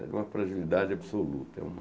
É uma fragilidade absoluta. É uma